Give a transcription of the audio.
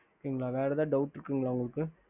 ஹம்